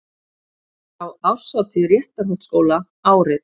Frá árshátíð Réttarholtsskóla árið